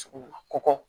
Cogo min na kɔkɔ